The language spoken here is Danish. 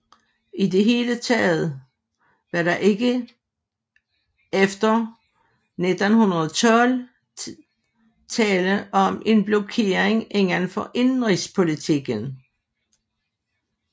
I det hele taget var der efter 1912 tale om en blokering inden for indenrigspolitikken